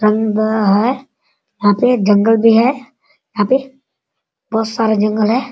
है। यहाँ पे जंगल भी है। यहाँ पे बहोत सारा जंगल है।